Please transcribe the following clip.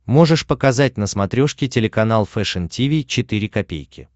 можешь показать на смотрешке телеканал фэшн ти ви четыре ка